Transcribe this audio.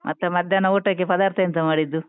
ಮತ್ತೆ ಮಧ್ಯಾಹ್ನ ಊಟಕ್ಕೆ ಪದಾರ್ಥ ಎಂತ ಮಾಡಿದ್ದು?